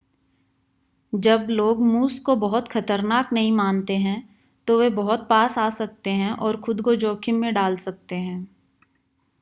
जब लोग मूस को बहुत ख़तरनाक नहीं मानते हैं तो वे बहुत पास आ सकते हैं और खुद को जोख़िम में डाल सकते हैं